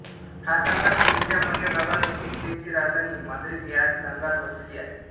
हा संघ स्पेनच्या मध्य भागात असून स्पेनची राजधानी माद्रिद ह्याच संघात वसलेली आहे